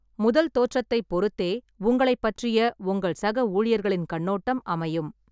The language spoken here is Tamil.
முதல் தோற்றத்தைப் பொறுத்தே, உங்களைப் பற்றிய உங்கள் சக ஊழியர்களின் கண்ணோட்டம் அமையும்.